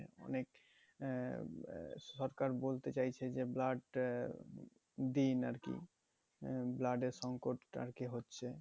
অনেক আহ সরকার বলছে চাইছে যে blood আহ দিন আর কি আহ blood এর সংকট আর কি হচ্ছে